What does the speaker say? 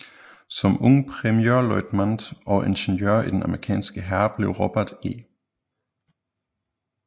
Som ung premierløjtmant og ingeniør i den amerikanske hær blev Robert E